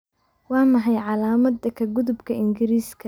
Waa maxay calaamadda ka gudubka ingiriisiga?